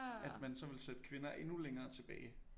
At man så ville sætte kvinder endnu længere tilbage